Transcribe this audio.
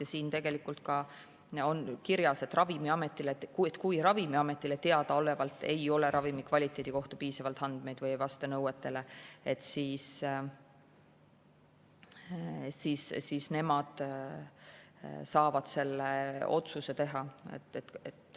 Ja siin tegelikult on ka kirjas, et kui Ravimiametile teadaolevalt ei ole ravimi kvaliteedi kohta piisavalt andmeid või ravim ei vasta nõuetele, siis nemad saavad selle otsuse teha.